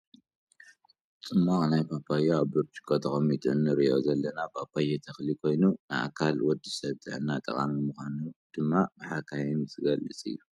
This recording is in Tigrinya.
ፅማቅ ናይ ባባዮ ኣብ ብርጭቆ ተፀሚቁ እንርኦ ዘለና ባባዮ ተክሊ ኮይኑ ንኣካላት ወዲሰብ ጥዕና ጠቃሚ ምኳኑ ድማ ብሓካይም ዝግለፅ እዩ።